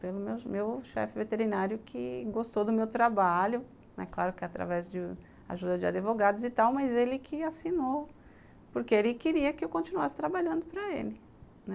pelo meu chefe veterinário que gostou do meu trabalho, claro que através do de ajuda de advogados e tal, mas ele que assinou, porque ele queria que eu continuasse trabalhando para ele, né